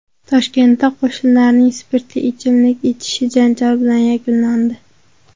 Toshkentda qo‘shnilarning spirtli ichimlik ichishi janjal bilan yakunlandi.